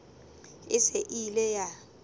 e se e ile ya